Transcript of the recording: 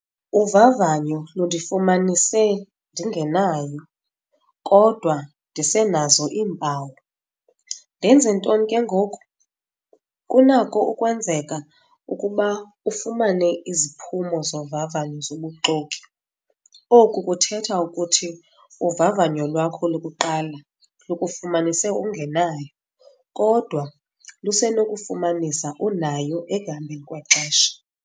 Uvavanyo lundifumanise ndingenayo kodwa ndisenazo iimpawu. Ndenze ntoni ke ngoku? Kunako ukwenzeka ukuba ufumane iziphumo zovavanyo zobuxoki. Oku kuthetha ukuthi uvavanyo lwakho lokuqala lukufumanise ungenayo, kodwa lusenokufumanisa unayo ekuhambeni kwexesha.